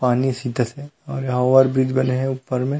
पानी सीतसे अउर ओवर ब्रिज बने हे ऊपर में --